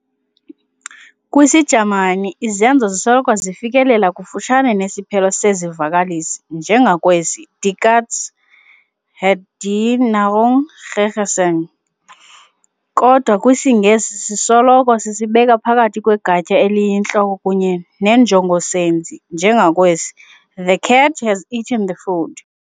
KwisiJamani, izenzi zisoloko zifikelela kufutshane nesiphelo sezivakalisi njengakwesi, Die Katze hat die Nahrung gegessen, kodwa kwisiNgesi sisoloko sisibeka phakathi kwegatya eliyintloko kunye nenjongosenzi, njengakwesi, the cat has eaten the food.